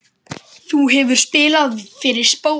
Þú hefur spilað fyrir spóann?